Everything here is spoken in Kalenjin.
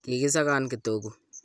kiki sakan kitogu